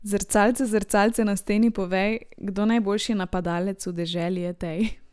Zrcalce, zrcalce na steni povej, kdo najboljši napadalec v deželi je tej.